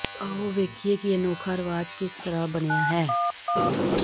ਆਓ ਵੇਖੀਏ ਕਿ ਇਹ ਅਨੋਖਾ ਰਿਵਾਜ ਕਿਸ ਤਰ੍ਹਾਂ ਬਣਿਆ ਹੈ